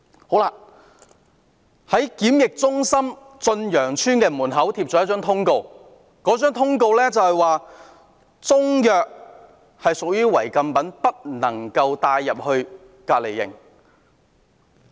駿洋邨檢疫中心門外張貼了一張通告，說中藥屬於違禁品，不能帶進隔離營。